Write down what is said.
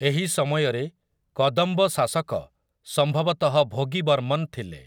ଏହି ସମୟରେ କଦମ୍ବ ଶାସକ ସମ୍ଭବତଃ ଭୋଗିବର୍ମନ ଥିଲେ ।